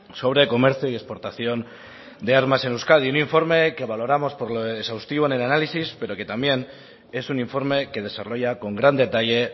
sobre comercio y exportación de armas en euskadi un informe que valoramos por lo exhaustivo en el análisis pero que también es un informe que desarrolla con gran detalle